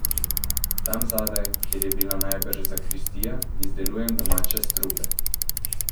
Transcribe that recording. Tam zadaj, kjer je bila najbrž zakristija, izdelujem domače strupe.